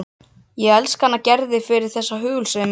Ég elska hana Gerði fyrir þessa hugulsemi.